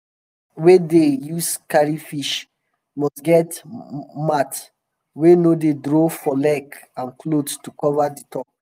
trucks wey dem dey use carry fish must get mat um wey no dey draw for leg and cloth to cover di top.